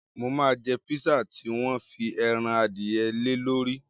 Mo máa jẹ pisa tí wọ́n fi ẹran adìyẹ lé lórí.